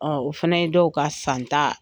O fɛnɛ ye dɔw ka san tan